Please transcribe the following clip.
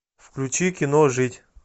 включи кино жить